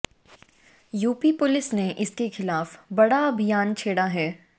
UP police ने इसके खिलाफ बड़ा अभियान छेड़ा है